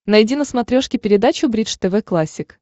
найди на смотрешке передачу бридж тв классик